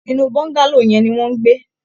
Inú Bọ́ńgálò yẹn ni wọn ń gbé